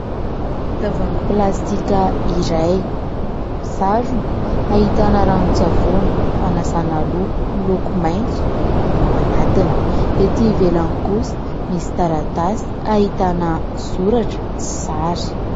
Tavoangy plastika iray misarony ahitana ranon-tsavony fanasana loha miloko maitso ao anatiny. Etỳ ivelany kosa misy taratasy ahitana soratra sy sary.